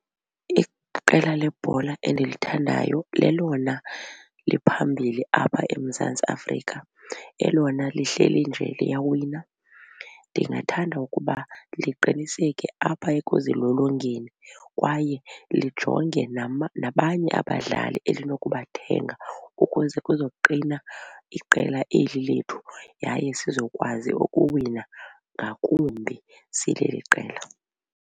Iqela lebhola endilithandayo lelona liphambili apha eMzantsi Afrika elona lihleli nje liyawina. Ndingathanda ukuba liqiniseke apha ekuzilolongeni kwaye lijonge nabanye abadlali elinokubathenga ukwenze kuzoqina iqela eli lethu yaye sizokwazi ukuwina ngakumbi sileli qela.